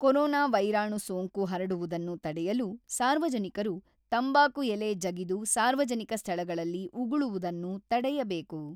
Corona ವೈರಾಣು ಸೋಂಕು ಹರಡುವುದನ್ನು ತಡೆಯಲು ಸಾರ್ವಜನಿಕರು ತಂಬಾಕು ಎಲೆ ಜಗಿದು ಸಾರ್ವಜನಿಕ ಸ್ಥಳಗಳಲ್ಲಿ ಉಗುಳುವುದನ್ನು ತಡೆಯಬೇಕು.